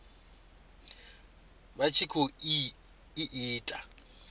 vha tshi khou i ita